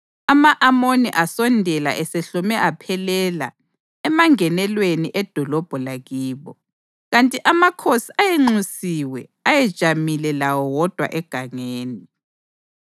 Ama-Amoni asondela esehlome aphelela emangenelweni edolobho lakibo, kanti amakhosi ayenxusiwe ayejamile lawo wodwa egangeni.